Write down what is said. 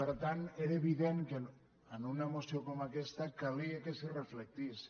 per tant era evident que en una moció com aques·ta calia que s’hi reflectís